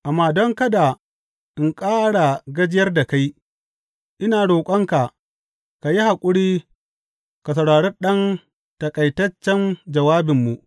Amma don kada in ƙara gajiyar da kai, ina roƙonka ka yi haƙuri ka saurari ɗan taƙaitaccen jawabinmu.